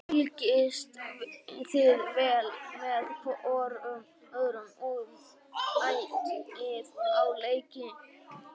Fylgist þið vel með hvorum öðrum og mætið á leiki?